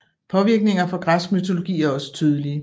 Påvirkninger fra Græsk mytologi er også tydelige